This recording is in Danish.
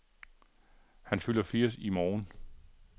Han fylder firs år i morgen.